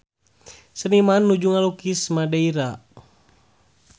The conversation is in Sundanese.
Seniman nuju ngalukis Madeira